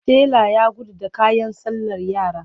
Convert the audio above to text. Tela ya gudu da kayan sallar yara.